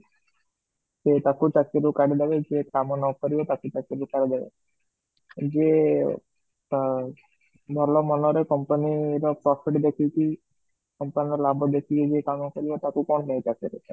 ସେ ତାକୁ ଚାକିରୀ ରୁ କାଢି ଦେବେ ଯିଏ କାମ ନ କରିବା ତାକୁ ଅକିରି ରୁ କାଢି ଦେବେ, ଯିଏ ଆଂ ଭଲ ମନରେ company ର profit ଦେଖିକି company ର ଲାଭ ଦେଖିକି ଯିଏ କାମ କରିବା ତାକୁ କଣ ପାଇଁ ଚାକିରୀରୁ କାଢି ଦେବେ?